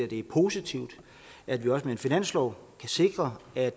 det er positivt at vi også med en finanslov kan sikre at